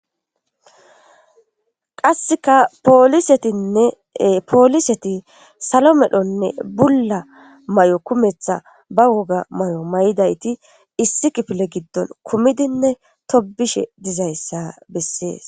qasseka poolisetinne pooliseti salo medhonne bulla may7o kumetha ba woga may7o may7idayti issi kifile giddon kumidinne tobishe dizayssa bessees